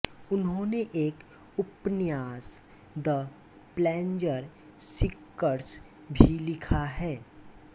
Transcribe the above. उन्होंने एक उपन्यास द प्लैज़र सीकर्स भी लिखा है